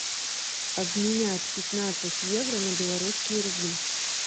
обменять пятнадцать евро на белорусские рубли